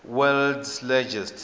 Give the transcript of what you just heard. world s largest